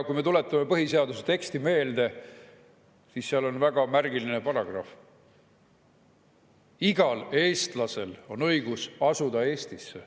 Kui me tuletame põhiseaduse teksti meelde, siis seal on väga märgiline paragrahv: igal eestlasel on õigus asuda Eestisse.